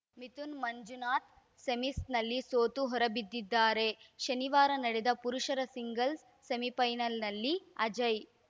ಮಿಥುನ್‌ ಮಂಜುನಾಥ್‌ ಸೆಮೀಸ್‌ನಲ್ಲಿ ಸೋತು ಹೊರಬಿದ್ದಿದ್ದಾರೆ ಶನಿವಾರ ನಡೆದ ಪುರುಷರ ಸಿಂಗಲ್ಸ್‌ ಸೆಮಿಫೈನಲ್‌ನಲ್ಲಿ ಅಜಯ್‌